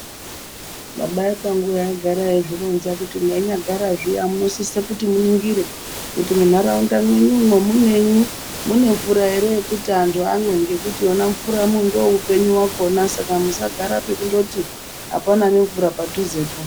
Baba ekwanguyo aigara eizvironza kuti mweinyagara zviya munosisa kuti muningire kuti muntharaunda mwenyumwo munei. Mune mvura ere yokuti anthu amwe ngekuti yona mvura ndoupenyu hwakona saka musagara pekundoti hapana nemvura padhuzepo.